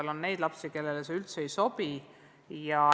Aga on ka neid lapsi, kellele see üldse ei sobi.